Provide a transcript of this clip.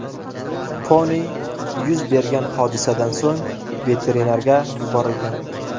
Poni yuz bergan hodisadan so‘ng veterinarga yuborilgan.